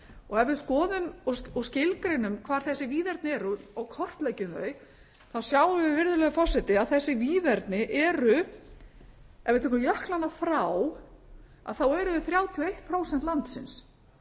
og ef við skoðum og skilgreinum hvar þessi víðerni eru og kortleggjum þau þá sjáum við virðulegi forseti að þessi víðerni eru ef við tökum jöklana frá þá eru þau þrjátíu og eitt prósent landsins